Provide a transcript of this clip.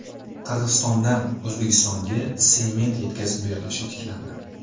Qirg‘izistondan O‘zbekistonga sement yetkazib berilishi tiklandi.